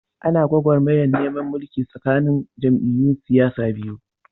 Ana gwagwarmayar neman mulki tsakanin jam'iyyun siyasar biyu.